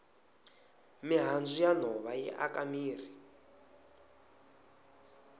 mihandzu ya nhova yi aka mirhi